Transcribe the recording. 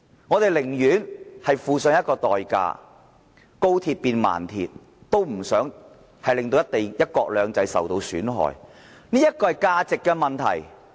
我們寧願付上代價，高鐵變慢鐵，也不想令"一國兩制"受到損害，這是價值問題。